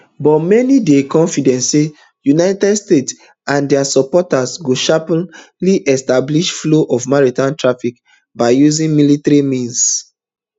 but many dey confident say united states and dia supporters go sharply reestablish flow of maritime traffic by using military means